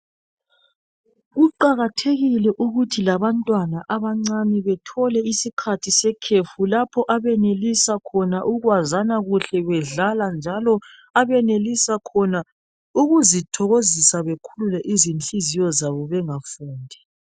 Kuqakathekile ukuthi labantwana abancane bethole isikhathi sekhefu lapho abenelisa khona ukwazana kuhle bedlala njalo bezithokozisa bekhulule izinhliziyo zabo bengafundi .